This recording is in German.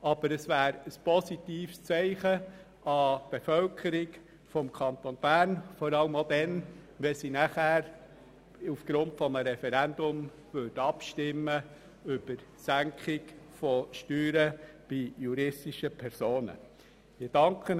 Aber es wäre ein positives Zeichen an die Bevölkerung des Kantons Bern, vor allem auch dann, wenn sie nachher aufgrund eines Referendums über die Senkung der Steuern bei juristischen Personen abstimmen würde.